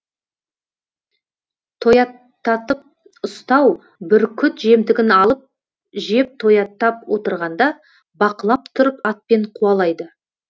тояттатып ұстау бүркіт жемтігін алып жеп тояттап отырғанда бақылап тұрып атпен қуалайды